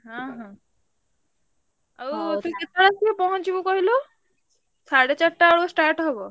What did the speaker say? ହଁ ହଁ। ଆଉ କେତେଟା ବେଳ ଭିତରେ ପହଁଞ୍ଚିବୁ କହିଲୁ? ସାଢେ ଚାରିଟା ବେଳକୁ start ହବ।